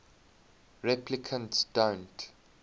replicants don't